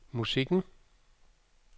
musikken